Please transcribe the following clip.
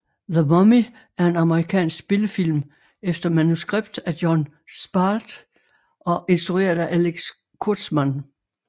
The Mummy er en amerikansk spillefilm efter manuskript af Jon Spaihts og instrueret af Alex Kurtzman